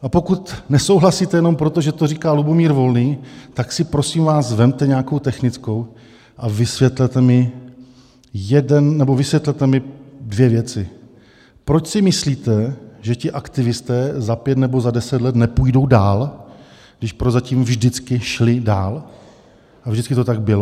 A pokud nesouhlasíte jenom proto, že to říká Lubomír Volný, tak si prosím vás vezměte nějakou technickou a vysvětlete mi dvě věci: proč si myslíte, že ti aktivisté za pět nebo za deset let nepůjdou dál, když prozatím vždycky šli dál a vždycky to tak bylo.